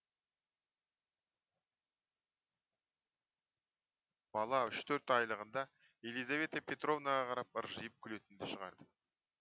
бала үш төрт айлығында елизавета петровнаға қарап ыржиып күлетінді шығарды